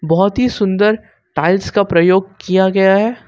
बहोत ही सुंदर टाइल्स का प्रयोग किया गया है।